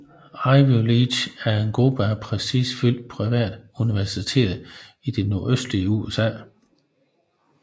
Ivy League er en gruppe af prestigefyldte private universiteter i det nordøstlige USA